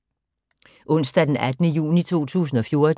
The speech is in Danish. Onsdag d. 18. juni 2014